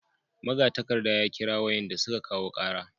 Magatakarda ya kira wayanda suka kawo kara